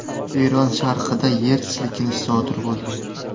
Eron sharqida yer silkinishi sodir bo‘ldi.